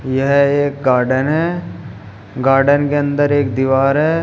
यह एक गार्डन है गार्डन के अंदर एक दीवार है।